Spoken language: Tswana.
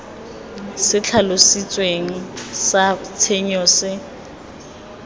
se tlhalositsweng sa tshenyo se